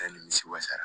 A ye nimisi wasa